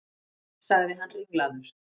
sagði hann ringlaður.